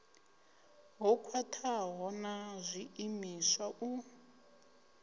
ho khwathaho ha zwiimiswa u